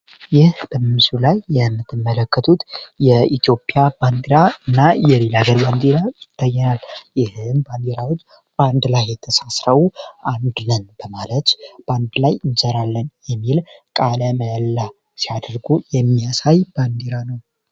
ይህ በምስሉ ላይ የምትመለከቱ የኢትዮጵያ ባንዲራና የሌላ ሀገር ባንድራ ይታየናል እነዚህ ባንዲራዎች በአንድ ላይ የተሳሰረው አንድ ነን በማለት አንድ ላይ እንሰራለን በማለት ቃለ መሀላ ሲያደርጉ የሚያሳይ ባንዴራ ነው።